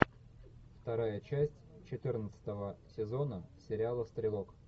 вторая часть четырнадцатого сезона сериала стрелок